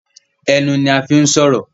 Ẹnu ní a fín sọrọ